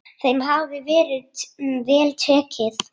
Þeim hafi verið vel tekið.